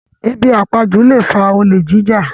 Ebi àpajú lè fa olè jíjà